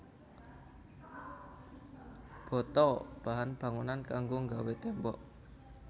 Bata bahan bangunan kanggo nggawé tembok